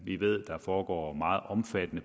vi ved at der foregår meget omfattende